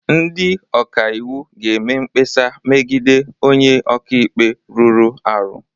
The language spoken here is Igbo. Ndị ọka iwu ga-eme mkpesa megide onye ọka ikpe rụrụ arụ